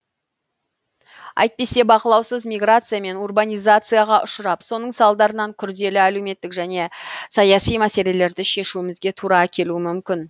әйтпесе бақылаусыз миграция мен урбанизацияға ұшырап соның салдарынан күрделі әлеуметтік және саяси мәселелерді шешуімізге тура келуі мүмкін